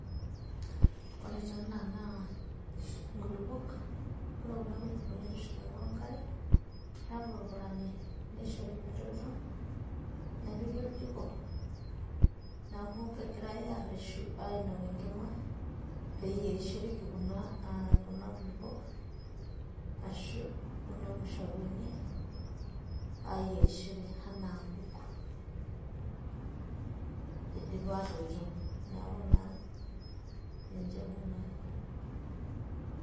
ore taa ena naa nkulupok ore kuna kulupok nitushulaki we nkare, nepurupurani, nishori metoito, nepiki oljiko, neeku kegirae aareshu aapik enkima, peeyierishoreki kuna kulupuok ashu, kuna mushakwani aayierishore anaa nkuk, idipa aatoito neeku naa ninche kuna.